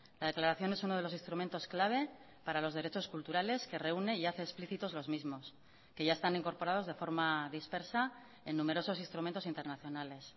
la declaración es uno de los instrumentos clave para los derechos culturales que reúne y hace explícitos los mismos que ya están incorporados de forma dispersa en numerosos instrumentos internacionales